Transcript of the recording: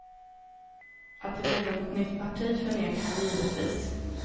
Att det blir något nytt parti förnekar han givetvis.